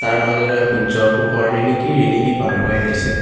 তাৰ মাজেৰে সূৰ্য্যৰ পোহৰ ৰিণিকি ৰিণিকি পাৰহৈ আহিছে।